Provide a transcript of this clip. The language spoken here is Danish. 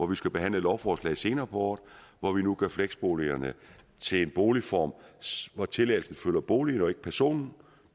vi skal behandle et lovforslag om senere på året hvor vi nu gør fleksboligerne til en boligform hvor tilladelsen følger boligen og ikke personen og